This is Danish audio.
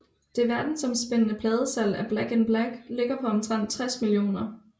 Det verdensomspændende pladesalg af Back in Black ligger på omtrent 60 millioner